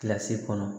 Kilasi kɔnɔ